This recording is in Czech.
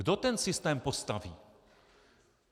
Kdo ten systém postaví?